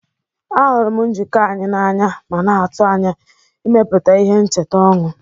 Ahụrụ m njikọ anyị n'anya ma na-atụ anya ịmepụta ihe ncheta ọnụ.